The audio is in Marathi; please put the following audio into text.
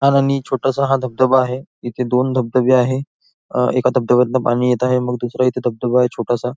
लहान आणि छोटासा हा धबधबा आहे इथे दोन धबधबे आहे एका धबधब्यातन पाणी येत आहे मग दूसरा इथे धबधबा आहे छोटासा.